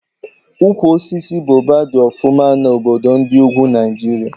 Ukwu osisi Baoba dị ọfụma na obodo ndị ugwu Naijiria